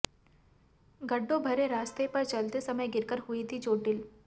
गड्ढों भरे रास्ते पर चलते समय गिरकर हुई थी चोटिल